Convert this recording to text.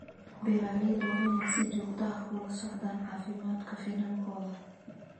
Beeralayda waa inay si joogto ah ula socdaan caafimaadka finankooda.